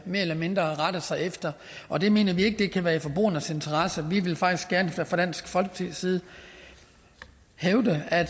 mere eller mindre rette sig efter og det mener vi ikke kan være i forbrugernes interesse vi vil faktisk fra dansk folkepartis side hævde at